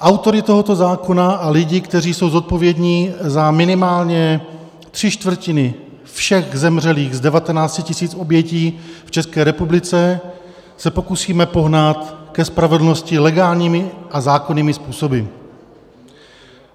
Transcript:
Autory tohoto zákona a lidi, kteří jsou zodpovědní za minimálně tři čtvrtiny všech zemřelých z 19 000 obětí v České republice, se pokusíme pohnat ke spravedlnosti legálními a zákonnými způsoby.